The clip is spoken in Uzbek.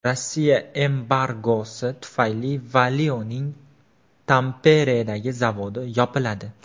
Rossiya embargosi tufayli Valio‘ning Tamperedagi zavodi yopiladi.